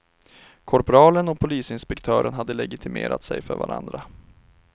Korpralen och polisinspektören hade legitimerat sig för varandra.